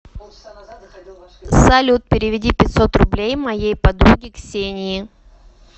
салют переведи пятьсот рублей моей подруге ксении